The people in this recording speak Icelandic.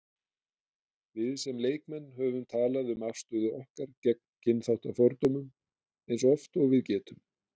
Við sem leikmenn höfum talað um afstöðu okkar gegn kynþáttafordómum eins oft og við getum.